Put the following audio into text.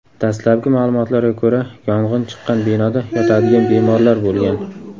Dastlabki ma’lumotlarga ko‘ra, yong‘in chiqqan binoda yotadigan bemorlar bo‘lgan.